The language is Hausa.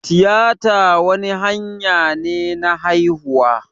Tiyita wani hanya ne na haihuwa